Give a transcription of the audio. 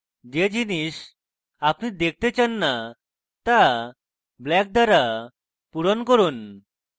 যে জিনিস আপনি দেখতে চান না তা black দ্বারা ভরুন